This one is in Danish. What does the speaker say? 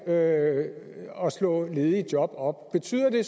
at slå ledige job op betyder det